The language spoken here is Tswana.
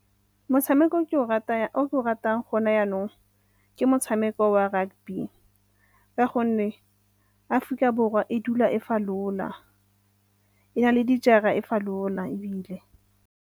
Motshameko o ke o ratang go ne yanong ke motshameko wa rugby ka gonne Aforika Borwa e dula e falola, e na le dijara e falola ebile.